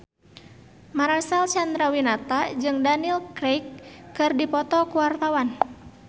Marcel Chandrawinata jeung Daniel Craig keur dipoto ku wartawan